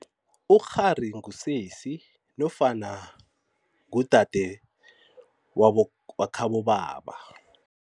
Ukghari ngusesi nofana ngudade wakhabobaba.